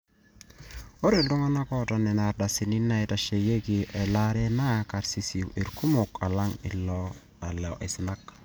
ore iltung'anak oota nena ardasini naaitasheiki elaare naa karsisi irkumok alang lelo aisinak